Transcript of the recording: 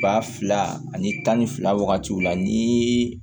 Ba fila ani tan ni fila wagati la ni